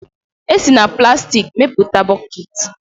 E si na plastiki mepụta bọkeeti